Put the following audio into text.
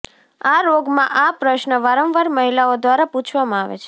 આ રોગમાં આ પ્રશ્ન વારંવાર મહિલાઓ દ્વારા પૂછવામાં આવે છે